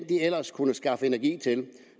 de ellers kunne skaffe energi til